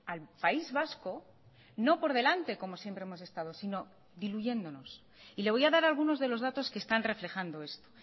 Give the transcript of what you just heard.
al país vasco no por delante como siempre hemos estado sino diluyéndonos y le voy a dar algunos de los datos que están reflejando esto